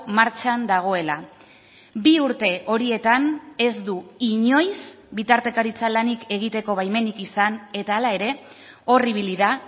martxan dagoela bi urte horietan ez du inoiz bitartekaritza lanik egiteko baimenik izan eta hala ere hor ibili da